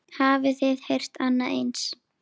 Hafið þið heyrt annað eins?